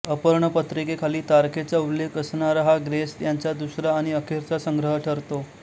अर्पणपत्रिकेखाली तारखेचा उल्लेख असणारा हा ग्रेस यांचा दुसरा आणि अखेरचा संग्रह ठरतो